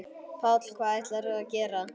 Páll: Hvað ætlarðu að gera?